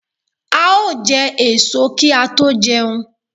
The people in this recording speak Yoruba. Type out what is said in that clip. A ó jẹ èso kí a tó jẹun